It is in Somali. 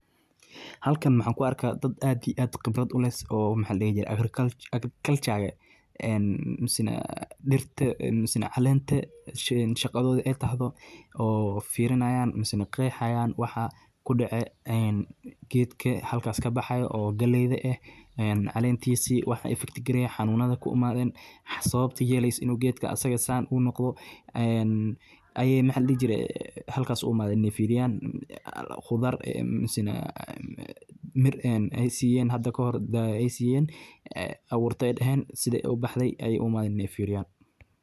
Halkan maxan ku arka dad aad iyo aad qibrad uleh oo maxa ladhihi jire Agriculture misena dhirta misena caleenta shaqadooda ay tahdo misena firinayaan misena qeexayaan waxa kudhece en gedka halkaas kabaaxayo oo galeyda eh, caleentiisa waxa cs]effect gareye ,xanuunada ku imadeen, sabata yeleysa inu gedka asaga San uu noqdo en aya maxa ladhihi jire halkan u imadeen inay firiyaan, qudaar misena mir ay siyeen hada kahore abuurta ay dheheen siday ubaxde ay u imadeen inay firiyaan